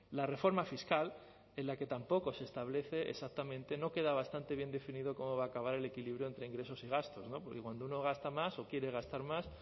la reforma fiscal en la que tampoco se establece exactamente no queda bastante bien definido cómo va a acabar el equilibrio entre ingresos y gastos porque cuando uno gasta más o quiere gastar más